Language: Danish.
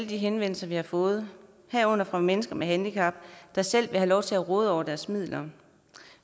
henvendelser vi har fået herunder fra mennesker med handicap der selv have lov til at råde over deres midler